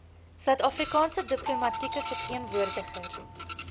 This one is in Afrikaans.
suidafrikaanse diplomatieke verteenwoordiger